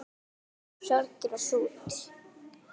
Sorgir og sút